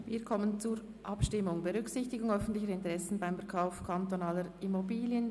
Wir kommen zu den Abstimmungen der Motion «Berücksichtigung öffentlicher Interessen beim Verkauf öffentlicher Immobilien».